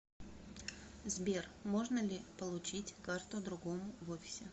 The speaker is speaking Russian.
сбер можно ли получить карту другому в офисе